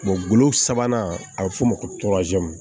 golo sabanan a bɛ f'o ma ko